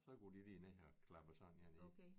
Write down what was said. Så går de lige ned her og klapper sådan én ned